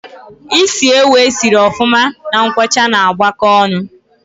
Ịsị ewu e si sịrị ofuma na nkwocha ná agbako ọṅụ